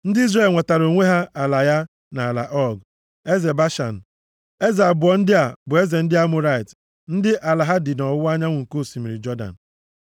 Ndị Izrel nwetaara onwe ha ala ya na ala Ọg, eze Bashan. Eze abụọ ndị a bụ eze ndị Amọrait ndị ala ha dị nʼọwụwa anyanwụ nke osimiri Jọdan.